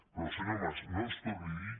però senyor mas no ens torni a dir